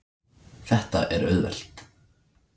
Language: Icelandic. Þetta er auðvelt.